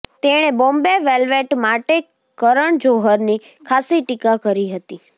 તેણે બોમ્બે વેલ્વેટ માટે કરણ જોહરની ખાસ્સી ટીકા કરી હતી